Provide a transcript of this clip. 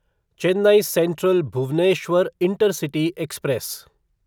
Chennai central Bhubaneswar intercity express